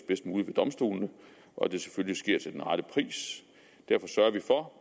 bedst muligt ved domstolene og at det selvfølgelig sker til den rette pris derfor sørger vi for